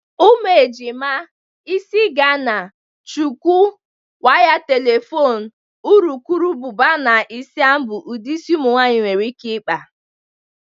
Ụmụ ejima, isi Ghana, shuku, waya telefon, urukurubụba na isam bụ ụdị isi ụmụnwaanyị nwere ike ịkpa.